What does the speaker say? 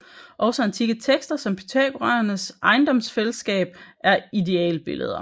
Også antikke tekster om pythagoræernes ejendomsfællesskab er idealbilleder